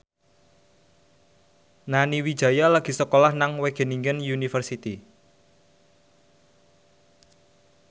Nani Wijaya lagi sekolah nang Wageningen University